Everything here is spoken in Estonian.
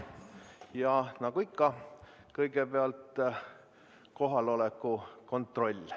Ja nagu ikka, kõigepealt kohaloleku kontroll.